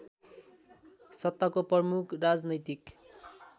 सत्ताको प्रमुख राजनैतिक